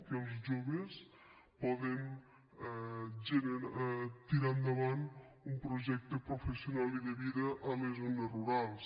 que els joves poden tirar endavant un projecte professional i de vida a les zones rurals